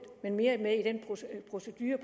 men mere i den procedure